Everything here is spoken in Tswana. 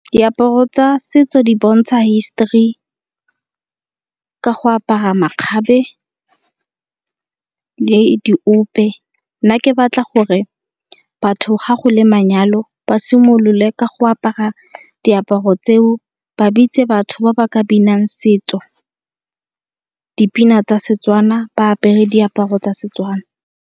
Diaparo tsa setso di bontsha hisitory ka go apara makgabe le diope. Nna ke batla gore batho ga go le manyalo ba simolole ka go apara diaparo tseo ba bitse batho ba ba ka binang setso, dipina tsa Setswana ba apere diaparo tsa Setswana.